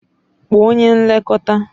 Kpọọ onye nlekọta.